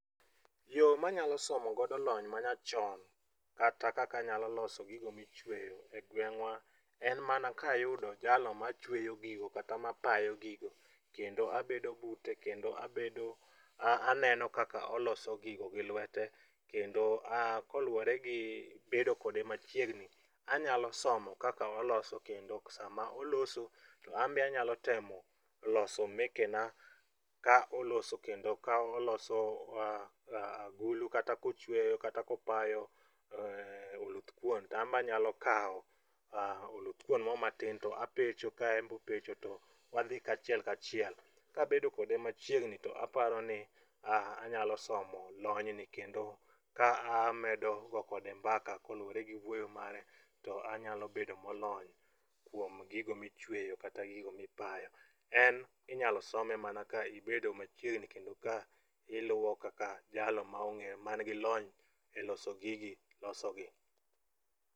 Yo manyalo somogodo lony manyachon kata kaka anyalo loso gigo michweyo e gweng'wa en mama kayudo jalo machweyo gigo kata mapayo gigo kendo abedo bute kendo aneno kaka oloso gigo gi lwete kendo koluwore gi bedo kode machiegni anyalo somo kaka oloso kendo sama oloso, to anbe anyalo temo loso mekena ka oloso kendo ka oloso agulu kata kochweyo kata kopayo oluthkuon to anbe anyalo kawo oluthkuon mo matin to apecho ka enbe opecho to wadhi kachiel kachiel. Kabedo kode machiegni to aparoni anyalo somo lonyni kendo ka amedo go kode mbaka kolure gi wuoyo mare to anyalo bedo molony kuom gigo michweyo kata gigo mipayo. En inyalo some mana ka ibedo machiegni kendo ka iluwo kaka jal mangilony e loso gigi losogi.